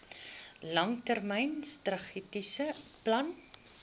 langtermyn strategiese plan